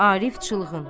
Arif çılğın.